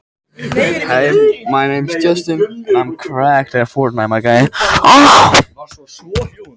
Því er þægilegt að flokka orsakir gulu á grundvelli þess hvar truflunin verður.